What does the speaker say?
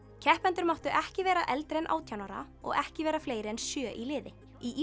keppendur máttu ekki vera eldri en átján ára og ekki vera fleiri en sjö í liði í